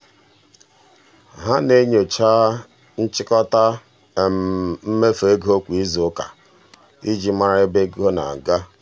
ha na-enyocha nchịkọta mmefu ego kwa izuụka iji mara ebe ego na-aga.